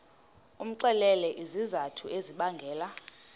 umxelele izizathu ezibangela